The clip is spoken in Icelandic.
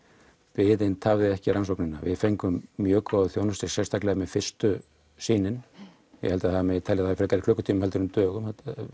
biðin tafði ekki rannsóknina við fengum mjög góða þjónustu sérstaklega með fyrstu sýnin ég held það megi telja frekar í klukkutímum heldur en dögum